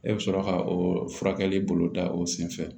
E bɛ sɔrɔ ka o furakɛli bolo da o sen fɛ